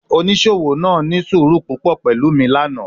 Onisowo naa ni suuru pupọ pẹlu mi lana